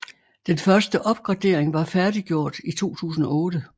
Den første opgradering var færdiggjort i 2008